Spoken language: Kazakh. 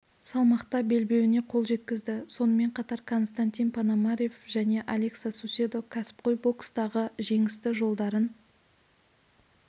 салмақта белбеуіне қол жеткізді сонымен қатар константин пономарев және алекса суседо кәсіпқой бокстағы жеңісті жолдарын